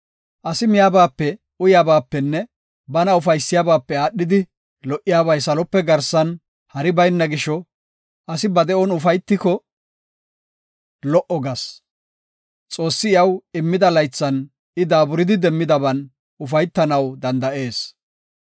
Asi miyabaape, uyabaapenne bana ufaysiyabape aadhidi lo77obay salope garsan hari bayna gisho, asi ba de7on ufaytiko lo77o gas. Xoossi iyaw immida laythan I daaburidi demmidaban ufaytanaw danda7ees.